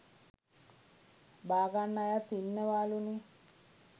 බාගන්න අයත් ඉන්නවාලුනේ.